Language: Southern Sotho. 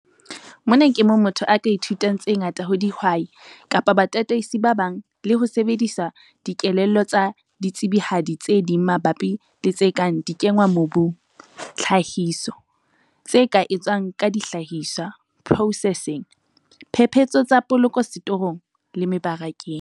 Mona ke moo motho a ka ithutang tse ngata ho dihwai kapa batataisi ba bang le ho sebedisa dikelello tsa ditsebihadi tse ding mabapi le tse kang dikenngwamobung, tlhahiso, tse ka etswang ka dihlahiswa, processing, phephetso tsa poloko setorong le mebarakeng.